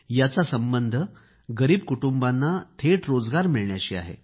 याचा संबंध गरीब कुटुंबाना थेट रोजगार मिळण्याशी आहे